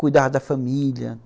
Cuidava da família.